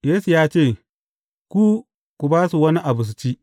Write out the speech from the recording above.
Yesu ya ce, Ku, ku ba su wani abu su ci.